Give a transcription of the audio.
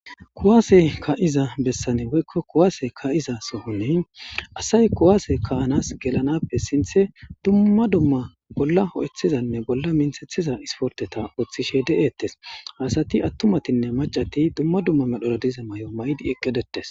Kuwase ka'iza bessani woykko kuwaase ka'iza sohoni asay kuwaase ka'anas gelanappe sinththe dumma dumma bolla ho'ethizanne bolla minthethiza isporteta ooththishe de'eettes asati attumatinne macati dumma dumma medhora diza may'o may'di eqqidetes